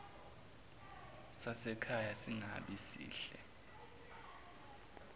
sasekhaya singabi sihle